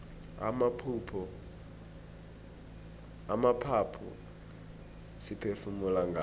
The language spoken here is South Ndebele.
amaphaphu siphefumula ngawo